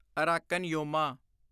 Arakan Yoma